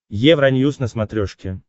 евроньюс на смотрешке